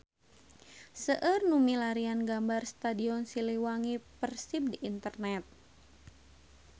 Seueur nu milarian gambar Stadion Siliwangi Persib di internet